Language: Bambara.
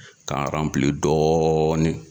K'a aranpili dɔɔni